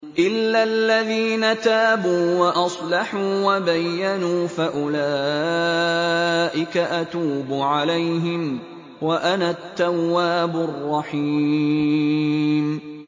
إِلَّا الَّذِينَ تَابُوا وَأَصْلَحُوا وَبَيَّنُوا فَأُولَٰئِكَ أَتُوبُ عَلَيْهِمْ ۚ وَأَنَا التَّوَّابُ الرَّحِيمُ